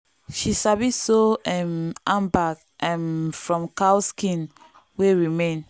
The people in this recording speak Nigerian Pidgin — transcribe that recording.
she sabi sew um handbag um from cow skin wey remain.